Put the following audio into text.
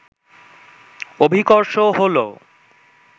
অভিকর্ষ হলো